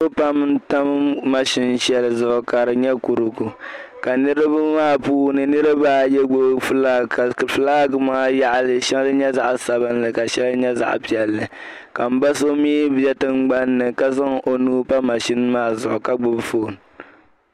Niriba pam tam maʒini shɛli zuɣu ka di nyɛ kurigu ka niriba maa puuni niriba ayi gbubi filaŋ ka filaŋ maa yaɣili shɛli nyɛ zaɣ'sabinli ka shɛli nyɛ zaɣ'piɛlli ka m ba'so mi bɛ tingbani ka zaŋ o nuu pa maʒini maa zuɣu ka gbubi fooni.